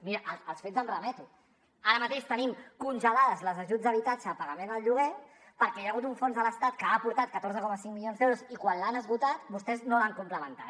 mira als fets em remeto ara mateix tenim congelats els ajuts a habitatge a pagament del lloguer perquè hi ha hagut un fons de l’estat que ha aportat catorze coma cinc milions d’euros i quan l’han esgotat vostès no l’han complementat